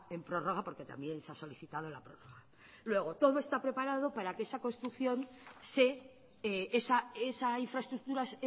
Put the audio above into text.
en prorroga porque también se ha solicitado luego todo está preparado para que esa infraestructura